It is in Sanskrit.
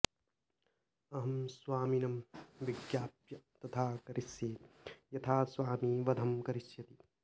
अहं स्वामिनं विज्ञाप्य तथा करिष्ये यथा स्वामी वधं करिष्यति